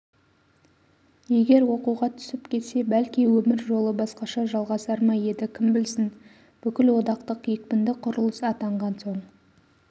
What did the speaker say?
егер оқуға түсіп кетсе бәлки өмір жолы басқаша жалғасар ма еді кім білсін бүкілодақтық екпінді құрылыс атанған соң